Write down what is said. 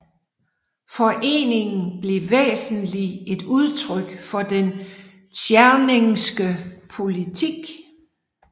Foreningen blev væsentlig et udtryk for den tscherningske politik